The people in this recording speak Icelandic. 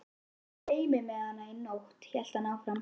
Annars dreymdi mig hana í nótt, hélt hann áfram.